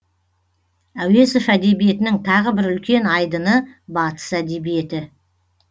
әуезов әдебиетінің тағы бір үлкен айдыны батыс әдебиеті